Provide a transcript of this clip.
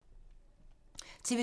TV 2